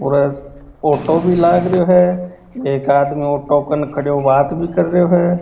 और ऑटो भी लागरो है एक आदमी ऑटो के कन खड़ा बात भी कर रहो है।